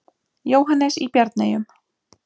Jóhannes í Bjarneyjum.